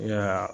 Ya